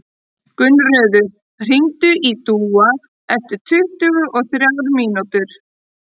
Gunnröður, hringdu í Dúa eftir tuttugu og þrjár mínútur.